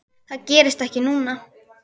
Það gerðist ekki núna.